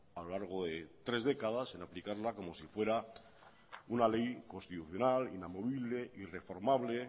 a lo largo de tres décadas en aplicarla como si fuera una ley constitucional inamovible irreformable